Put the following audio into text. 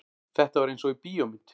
Þetta var einsog í bíómynd.